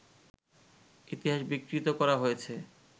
ইতিহাস বিকৃত করা হয়েছে